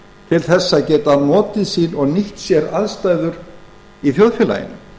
til þess að geta notið sín og nýtt sér aðstæður í þjóðfélaginu